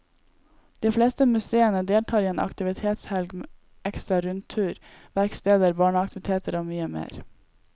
De fleste museene deltar i en aktivitetshelg med ekstra rundturer, verksteder, barneaktiviteter og mye mer.